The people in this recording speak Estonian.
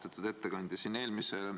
Austatud ettekandja!